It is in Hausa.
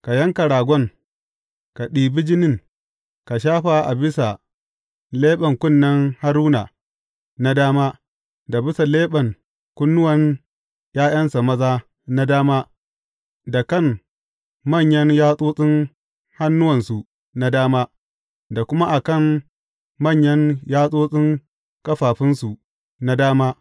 Ka yanka ragon, ka ɗibi jinin, ka shafa a bisa leɓen kunnen Haruna na dama, da bisa leɓen kunnuwan ’ya’yansa maza na dama, da kan manyan yatsotsin hannuwansu na dama, da kuma a kan manyan yatsotsin ƙafafunsu na dama.